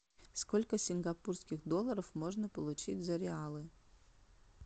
сколько сингапурских долларов можно получить за реалы